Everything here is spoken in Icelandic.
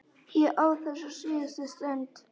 Ég á þessa síðustu stund.